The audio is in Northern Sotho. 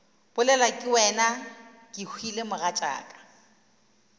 bolelwa ke wena kehwile mogatšaka